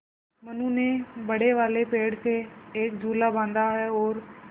मनु ने बड़े वाले पेड़ से एक झूला बाँधा है और